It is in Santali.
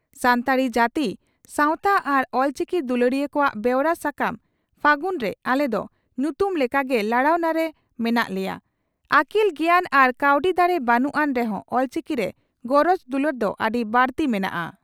ᱥᱟᱱᱛᱟᱲᱤ ᱡᱟᱹᱛᱤ ᱥᱟᱣᱛᱟ ᱟᱨ ᱚᱞᱪᱤᱠᱤ ᱫᱩᱞᱟᱹᱲᱤᱭᱟᱹ ᱠᱚᱣᱟᱜ ᱵᱮᱣᱨᱟ ᱥᱟᱠᱟᱢ 'ᱯᱷᱟᱹᱜᱩᱱ' ᱨᱮ ᱟᱞᱮ ᱫᱚ ᱧᱩᱛᱩᱢ ᱞᱮᱠᱟ ᱜᱮ ᱞᱟᱲᱟᱣᱱᱟ ᱨᱮ ᱢᱮᱱᱟᱜ ᱞᱮᱭᱟ ᱾ᱟᱹᱠᱤᱞ ᱜᱮᱭᱟᱱ ᱟᱨ ᱠᱟᱹᱣᱰᱤ ᱫᱟᱲᱮ ᱵᱟᱹᱱᱩᱜ ᱟᱱ ᱨᱮᱦᱚᱸ ᱚᱞᱪᱤᱠᱤ ᱨᱮ ᱜᱚᱨᱚᱡᱽ ᱫᱩᱞᱟᱹᱲ ᱫᱚ ᱟᱹᱰᱤ ᱵᱟᱹᱲᱛᱤ ᱢᱮᱱᱟᱜᱼᱟ ᱾